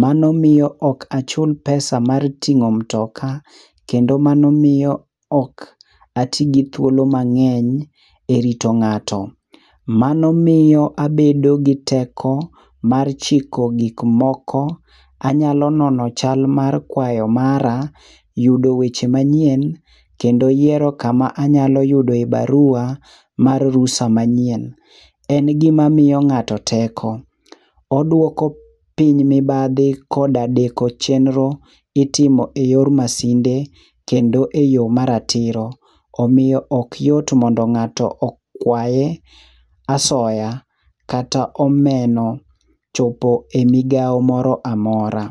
Mano miyo ok achul pesa mar ting'o mtoka kendo mano miyo ok ati gi thuolo mang'eny e rito ng'ato. Mano miyo abedo gi teko mar chiko gikmoko, anyalo nono chal mar kwayo mara, yudo weche manyien, kendo yiero kama anyalo yudoe barua mar rusa manyien. En gimamiyo ng'ato teko, odwoko piny mibadhi koda deko chenro itimo e yor masinde kendo e yo maratiro. Omiyo ok yot mondo ng'ato okwaye asoya kata omeno chopo e migawo moro amora.